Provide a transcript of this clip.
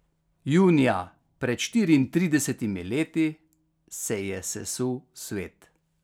Junija pred štiriintridesetimi leti se ji je sesul svet.